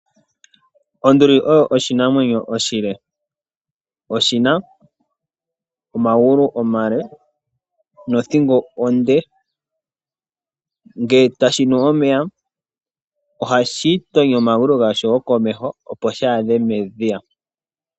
Ondulioyo oshinamwenyo oshile, oshi na omagulu omale nothingo onde. Uuna tashi nu omeya ohashi tonyo omagulu gasho gokomeho, opo sha adhe medhiya.